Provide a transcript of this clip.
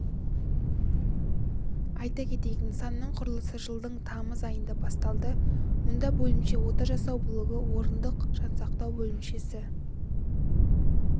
айта кетейік нысанның құрылысы жылдың тамыз айында басталды мұнда бөлімше ота жасау блогы орындық жансақтау бөлімшесі